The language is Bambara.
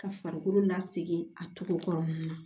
Ka farikolo lasegi a cogo kɔnɔna na